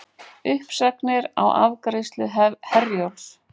Uppsagnir á afgreiðslu Herjólfs